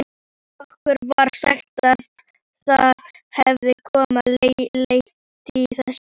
Okkur var sagt að það hefði kona lent í þessu.